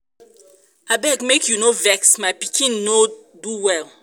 abeg make you no vex my pikin um no do well